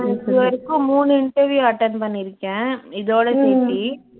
இது வரைக்கும் மூனு interview attend பண்ணிருக்கேன் இதோட சேத்து